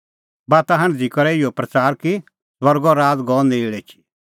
बाता हांढदी करै इहअ प्रच़ार कि स्वर्गो राज़ गअ नेल़ एछी